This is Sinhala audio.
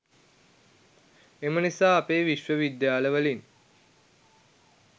එම නිසා අපේ විශ්ව විද්‍යාල වලින්